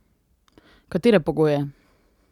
Katere pogoje?